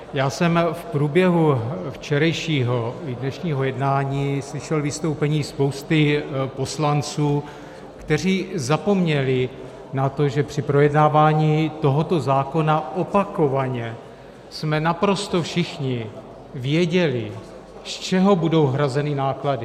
Já jsem v průběhu včerejšího i dnešního jednání slyšel vystoupení spousty poslanců, kteří zapomněli na to, že při projednávání tohoto zákona opakovaně jsme naprosto všichni věděli, z čeho budou hrazeny náklady.